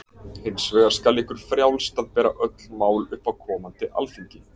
Hins vegar skal ykkur frjálst að bera öll mál upp á komandi alþingi.